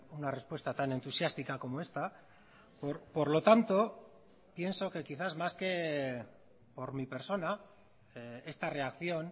una respuesta tan entusiástica como esta por lo tanto pienso que quizás más que por mi persona esta reacción